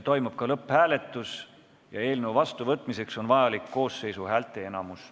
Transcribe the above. Toimub ka lõpphääletus, eelnõu vastuvõtmiseks on vaja koosseisu häälteenamust.